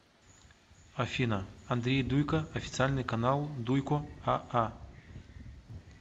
афина андрей дуйко официальный канал дуйко а а